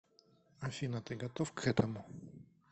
афина ты готов к этому